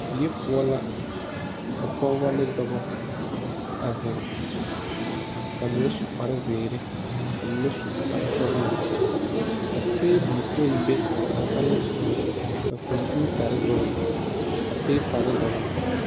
Die poɔ la ka pɔgeba ne dɔba a zeŋ ka mine su kparre zeere ka mine su kparre sɔglɔ ka tabole kpoŋ be senleŋsoga ka kompeetare dɔgle ka peepare dɔgle.